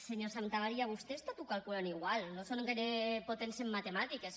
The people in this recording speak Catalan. senyor santamaría vostès tot ho calculen igual no són gaire potents en matemàtiques